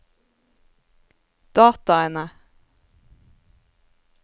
dataene